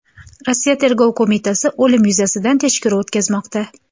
Rossiya tergov qo‘mitasi o‘lim yuzasidan tekshiruv o‘tkazmoqda.